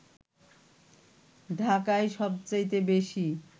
ঢাকায় সবচাইতে বেশি